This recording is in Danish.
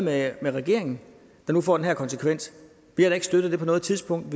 lavet med regeringen der nu får den her konsekvens vi har da ikke støttet det på noget tidspunkt